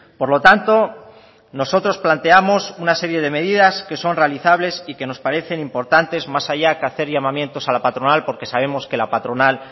por lo tanto nosotros planteamos una serie de medidas que son realizables y que nos parecen importantes más allá que hacer llamamientos a la patronal porque sabemos que la patronal